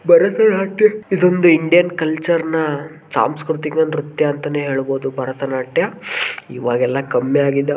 ಬರಸೆ ಹಟ್ಟೆ ಇದೊಂದು Indian culture ನ ಸಾಂಸ್ಕೃತಿಕ ನೃತ್ಯ ಅಂತನೆ ಹೇಳಬಹುದು ಭರತನಾಟ್ಯ ಈವಾಗೆಲ್ಲಾ ಕಮ್ಮಿ ಆಗಿದವ್ .